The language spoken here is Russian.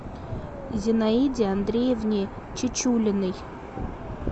зинаиде андреевне чечулиной